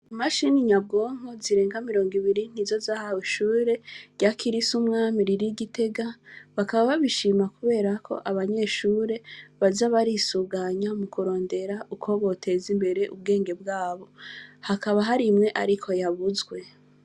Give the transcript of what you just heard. Imashini nyabwonko zirenga mirongo ibiri ,nizo zahawe ishure rya kirisu mwami riri igitega ,bakaba babishima kuberako abanyeshure baza narisuganya mukurondera uko botezimbere ubwenge bwabo. hakaba hari imwe muga yabuzwe.